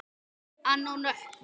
Anna og Nökkvi.